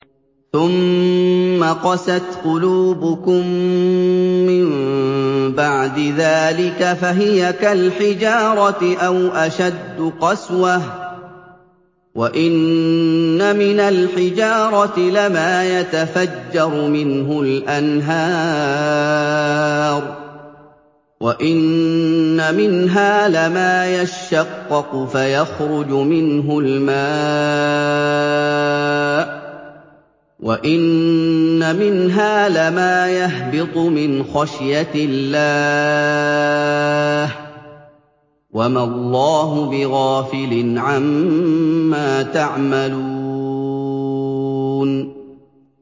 ثُمَّ قَسَتْ قُلُوبُكُم مِّن بَعْدِ ذَٰلِكَ فَهِيَ كَالْحِجَارَةِ أَوْ أَشَدُّ قَسْوَةً ۚ وَإِنَّ مِنَ الْحِجَارَةِ لَمَا يَتَفَجَّرُ مِنْهُ الْأَنْهَارُ ۚ وَإِنَّ مِنْهَا لَمَا يَشَّقَّقُ فَيَخْرُجُ مِنْهُ الْمَاءُ ۚ وَإِنَّ مِنْهَا لَمَا يَهْبِطُ مِنْ خَشْيَةِ اللَّهِ ۗ وَمَا اللَّهُ بِغَافِلٍ عَمَّا تَعْمَلُونَ